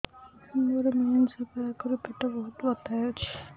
ମୋର ମେନ୍ସେସ ହବା ଆଗରୁ ପେଟ ବହୁତ ବଥା ହଉଚି